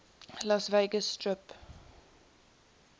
las vegas strip